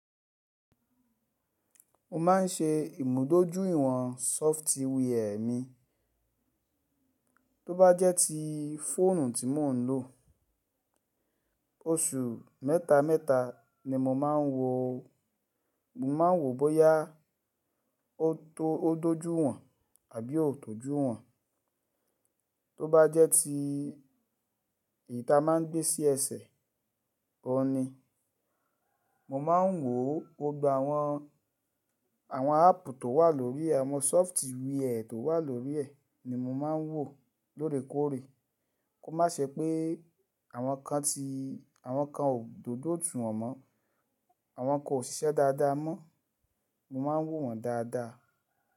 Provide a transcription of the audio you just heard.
Mo má n ṣe ìmùdójúìwọ̀n software mi. Tó bá jẹ́ ti fóònù tí mò ń lò, oṣù mẹ́ta mẹ́ta ni mo máa ń wo. Mo máa ń wo bóyá ó tó dójú ìwọ̀n àbí ó tòjú ìwọ̀n. Tó bá jẹ́ ti eyiì ta máa ń gbé sí ẹsẹ̀, òní, mo máa ń wò ó gbogbo àwọn, àwọn apù tó wà lórí ẹ, àwọn software tó wà lórí ẹ ni mo máa ń wò lórekóòrè kó má ṣe pé àwọn kan ti, àwọn kan ò dódó jù wọn mọ́, àwọn kan ò ṣiṣẹ́ dáadáa mọ́. Mo máa ń wò wọ́n dáadáa.